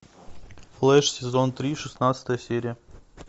флэш сезон три шестнадцатая серия